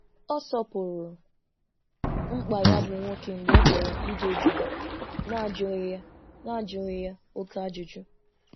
Ọ sọpụrụ mkpa ya bụ nwoke mgbe ọ chọrọ ide jụụ na ajụghị ya na ajụghị ya oké ajụjụ